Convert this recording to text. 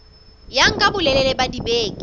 ya nka bolelele ba dibeke